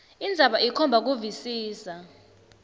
indzaba ikhomba kuvisisa